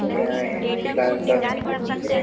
गाये है जो लाल रंग की है ।